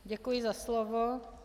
Děkuji za slovo.